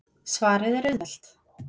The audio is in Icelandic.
Svarið er auðvelt.